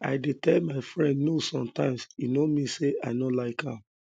i dey tell my friend no sometimes e no mean sey i no like am